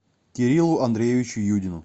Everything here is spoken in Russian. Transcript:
кириллу андреевичу юдину